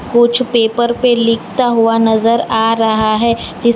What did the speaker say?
कुछ पेपर पे लिखता हुआ नजर आ रहा है इस --